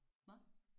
Hvad?